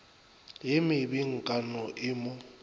ye mebe nkano e mo